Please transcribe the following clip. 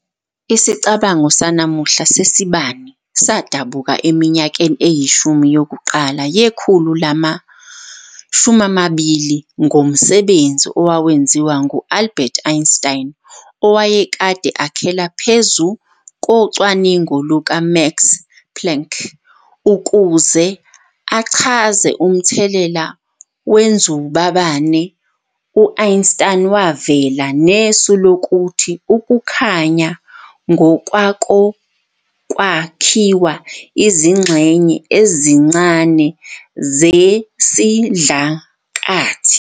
Isicabango sanamuhla sebane sadabuka eminyakeni eyishumi yokuqala yekhulu lama-20 ngomsebenzi owawenziwa ngu-Albert Einstein, owakade akhela phezu kocwaningo luka-Max Planck. Ukuze achaze umthelela wenzubabane, u-Einstein wavela nesu lokuthi ukukhanya ngokwako kwakhiwa izingxenye ezincane zesidlakathi.